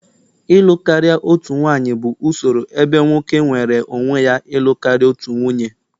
ịlụ karịa otu nwanyị bụ usoro ebe nwoke nweere onwe ya ịlụ karịa otu nwunye